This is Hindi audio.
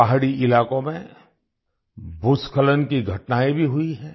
पहाड़ी इलाकों में भूस्खलन की घटनाएँ भी हुई हैं